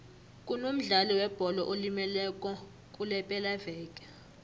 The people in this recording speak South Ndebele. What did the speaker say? kunomdlali webholo olimeleko kulepelaveke